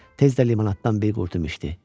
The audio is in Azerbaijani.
Tez də limonaddan bir qurtum içdi.